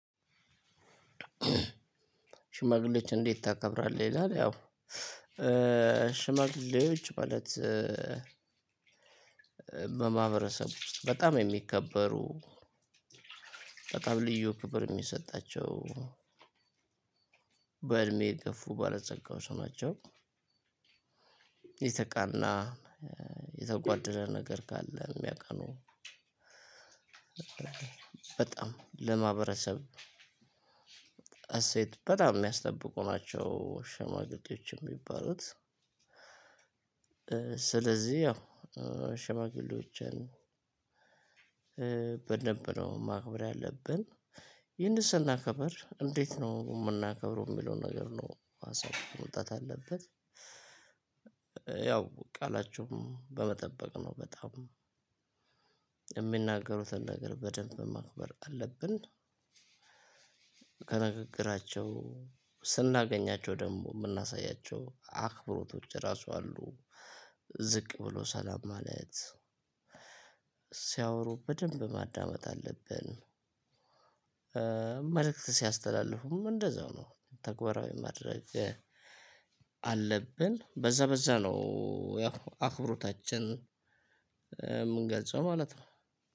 ሽማግሌዎችን እንዴት ታከብራለህ? ይላል ያው ሽማግሌዎች ማለት በማህበረሰቡ ውስጥ በጣም የሚከበሩ በጣም ልዩ ክብር የሚሰጣቸው በእድሜ የገፉ ባለጸጋዋች ናቸው። የተቃና የተጓደለ ነገር ካለ የሚያቃኑ። በጣም ለማህበረሰብ እሴት በጣም የሚያስጠብቁ ናቸው ሽማግሌዎች የሚባሉት። ስለዚህ ያው ሽማግሌዎችን በደንብ ነው ማክበር ያለብን ይህንን ስናከብር እንዴት ነው የምናከብረው የሚለውን ነገር ነው ሀሳብ መውጣት አለበት። ያው ቃላቸውን በመጠበቅ ነው በጣም የሚናገሩትን ነገር በደንብ ማክበር አለብን። ከንግግራቸው ስናገኛቸው ደግሞ የምናሳያቸው አክብሮቶች ራሱ አሉ ዝቅ ብሎ ሰላም ማለት ሲያወሩ በደንብ ማዳመጥ አለብን። መልእክት ሲያስተላልፉም እንደዛው ነው ተግባራዊ ማድረግ አለብን በዛ በዛ ነው ያው አክብሮታችንን የምንገልጸው ማለት ነው።